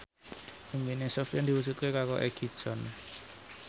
impine Sofyan diwujudke karo Egi John